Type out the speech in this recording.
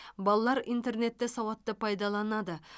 балалар интернетті сауатты пайдаланады